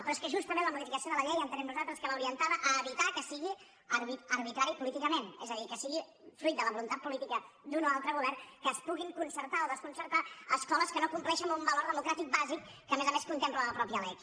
però és que justament la modificació de la llei ho entenem nosaltres l’orientava a evitar que sigui arbitrari políticament és a dir que sigui fruit de la voluntat política d’un o altre govern que es puguin concertar o desconcertar escoles que no compleixen amb un valor democràtic bàsic que a més a més contempla la mateixa lec